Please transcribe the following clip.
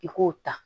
I k'o ta